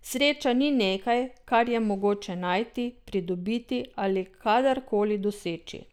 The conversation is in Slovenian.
Sreča ni nekaj, kar je mogoče najti, pridobiti ali kadar koli doseči.